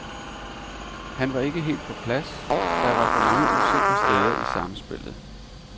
Han var ikke helt på plads, der var for mange usikre steder i samspillet.